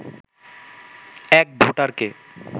এক ভোটারকে